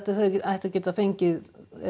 þau ættu að geta fengið